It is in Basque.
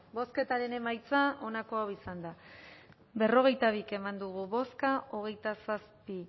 bozketaren emaitza onako izan da berrogeita bi eman dugu bozka hogeita zazpi